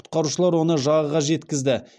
құтқарушылар оны жағаға жеткізді